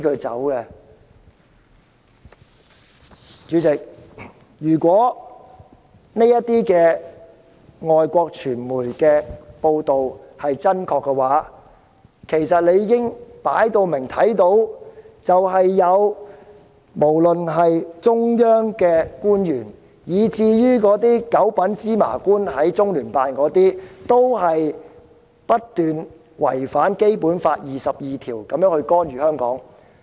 主席，如果這些外國傳媒的報道真確，其實大家理應看到，不論是中央官員或中聯辦的"九品芝麻官"，均不斷違反《基本法》第二十二條，干預香港事務。